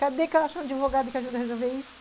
Cadê que eu acho um advogado que ajuda a resolver isso?